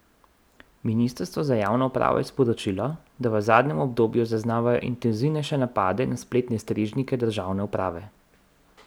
Ministrstvo za javno upravo je sporočilo, da v zadnjem obdobju zaznavajo intenzivnejše napade na spletne strežnike državne uprave.